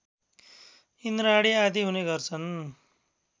इन्द्राणी आदि हुने गर्छन्